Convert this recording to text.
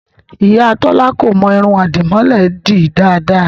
Ìyá Tọ́lá kò mọ irun àdìmọ́lẹ̀ ẹ dì dáadáa